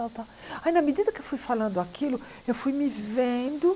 Tal tal aí na medida que eu fui falando aquilo, eu fui me vendo.